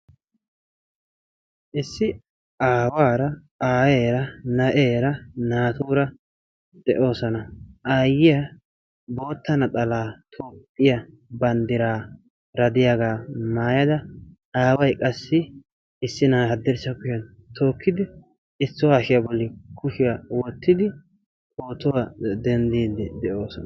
issi aawaara aayeera naatuura de'oosona. aayiya bootta naxxalaa toophiya bandiraara diyaaga maayada aaway qassi issi na'aa haddirssa kushiyan tookkidi issuwa hashiya bolli kushiya wottidi pootuwa dendiidi de'oosona.